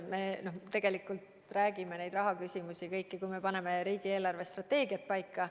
Tegelikult me räägime neid rahastusküsimused kõik läbi siis, kui me paneme riigi eelarvestrateegiat paika.